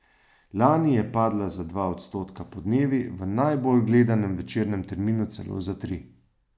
Lani je padla za dva odstotka podnevi, v najbolj gledanem večernem terminu celo za tri.